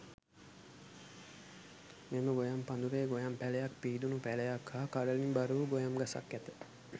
මෙම ගොයම් පඳුරේ ගොයම් පැළයක් පීදුන පැළයක් හා කරලින් බරවූ ගොයම් ගසක් ඇත.